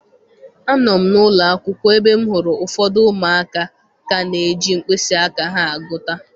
Anọ m n'ụlọ akwụkwọ ebe m hụrụ ụfọdụ ụmụaka ka na-eji mkpịsị aka ha agụta.